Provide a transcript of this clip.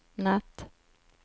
natt